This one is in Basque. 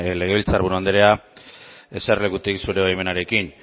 legebiltzar buru anderea eserlekutik zure baimenarekin